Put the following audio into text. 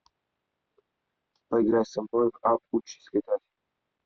поиграй со мной в апп учись летать